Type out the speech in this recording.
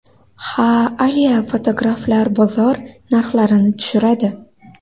Ha, a-lya fotograflar bozor narxlarini tushiradi.